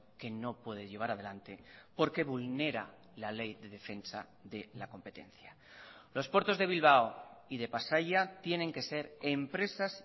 que no puede llevar adelante porque vulnera la ley de defensa de la competencia los puertos de bilbao y de pasaia tienen que ser empresas